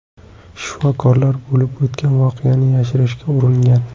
Shifokorlar bo‘lib o‘tgan voqeani yashirishga uringan.